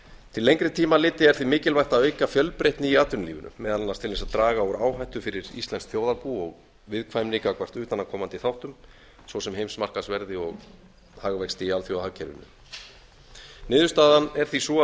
til lengri tíma litið er því mikilvægt að auka fjölbreytni í atvinnulífinu meðal annars til þess að draga úr áhættu fyrir íslenskt þjóðarbú og viðkvæmni gagnvart utanaðkomandi þáttum svo sem heimsmarkaðsverði og hagvexti í alþjóðahagkerfinu niðurstaðan er því sú að við